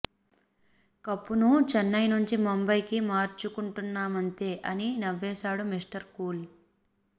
కప్పును చెన్నై నుంచి ముంబయి కి మార్చుకుంటున్నామంతే అని నవ్వేశాడు మిస్టర్ కూల్